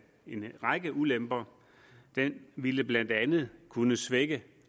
en række ulemper den ville blandt andet kunne svække